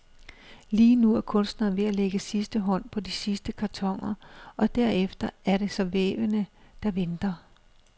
Lige nu er kunstneren ved at lægge sidste hånd på de sidste kartoner, og derefter er det så vævene, der venter.